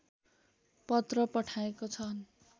पत्र पठाएको छन्